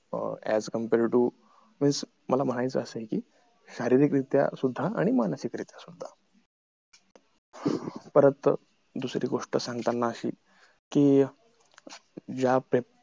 uh as compare to मला माहिती आहे असं कि शारीरिक रित्या आणि मानसिक रित्या सुद्धा अह परत दुसरी गोष्ट सांगताना अशी कि ज्या पेपर